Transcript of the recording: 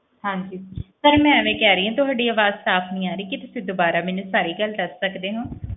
ਹਾਂਜੀ sir ਮੈਂ ਇਵੇਂ ਕਹਿ ਰਹੀ ਹਾਂ ਤੁਹਾਡੀ ਆਵਾਜ਼ ਸਾਫ਼ ਨੀ ਆ ਰਹੀ, ਕੀ ਤੁਸੀਂ ਦੁਬਾਰਾ ਮੈਨੂੰ ਸਾਰੀ ਗੱਲ ਦੱਸ ਸਕਦੇ ਹੋ?